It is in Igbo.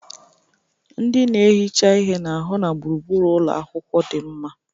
Ndị na-ehicha ihe na-ahụ na gburugburu ụlọ akwụkwọ dị mma